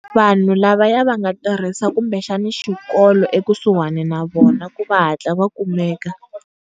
Vanhu lavaya va nga tirhisa kumbexani xikolo eku suhani na vona ku va hatla va kumeka.